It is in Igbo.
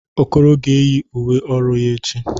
Okoro ga-eyi uwe ọrụ ya echi.